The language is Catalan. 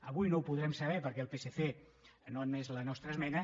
avui no ho podrem saber perquè el psc no ha admès la nostra esmena